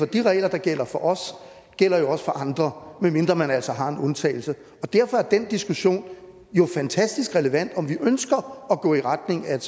de regler der gælder for os også for andre medmindre man altså har en undtagelse derfor er den diskussion jo fantastisk relevant altså om vi ønsker at gå i retning af et